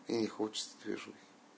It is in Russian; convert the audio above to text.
ей не хочется движухи